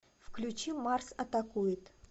включи марс атакует